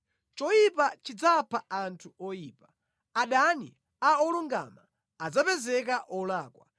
Choyipa chidzapha anthu oyipa; adani a olungama adzapezeka olakwa.